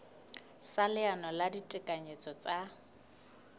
sa leano la ditekanyetso tsa